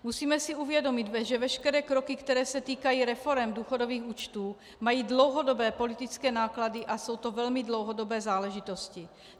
Musíme si uvědomit, že veškeré kroky, které se týkají reforem důchodových účtů, mají dlouhodobé politické náklady a jsou to velmi dlouhodobé záležitosti.